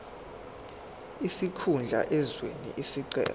sikhundla owenze isicelo